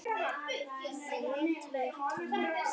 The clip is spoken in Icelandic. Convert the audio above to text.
Vetur kóngur.